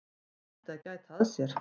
Hann ætti að gæta að sér.